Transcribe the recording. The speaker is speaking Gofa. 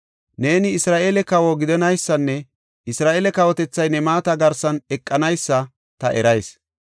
Neeni Isra7eele kawo gidanaysanne Isra7eele kawotethay ne maata garsan eqanaysa ta erayis.